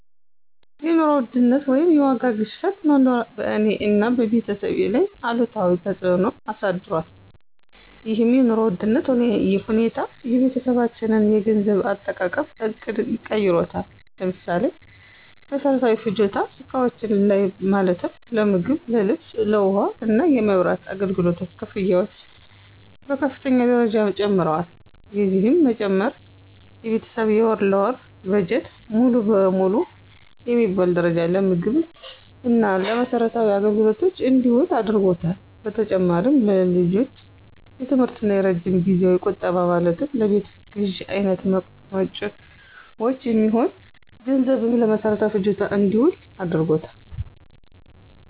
የኑሮ ውድነት ወይም የዋጋ ግሽበት መኖር በእኔ እና በቤተሰቤ ላይ አሉታዊ ተፅዕኖ አሳድሯል። ይህም የኑሮ ውድነት ሁኔታ የቤተሰባችንን የገንዘብ አጠቃቀም ዕቅድ ቀይሮታል። ለምሳሌ፦ በመሰረታዊ ፍጆታ እቃዎች ላይ ማለትም ለምግብ፣ ለልብስ፣ ለውሃ እና የመብራት አገልግሎት ክፍያዎች በከፍተኛ ደረጃ ጨምረዋል። የዚህም መጨመር የቤተሰብ የወር ለወር በጀት ሙሉ ለሙሉ በሚባል ደረጃ ለምግብ እና ለመሰረታዊ አገልግሎቶች እንዲውል አድርጓታል። በተጨማሪም ለልጆች የትምህርት እና የረጅም ጊዜያዊ ቁጠባ ማለትም ለቤት ግዥ አይነት መጭወች የሚሆን ገንዘብም ለመሰረታዊ ፍጆታ እንዲውል አድርጎታል።